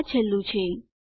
આ છેલ્લું છે